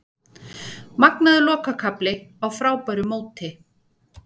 Magnaður lokakafli á frábæru móti